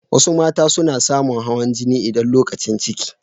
Wasu mata suna samu hawan jini idan lokacin ciki.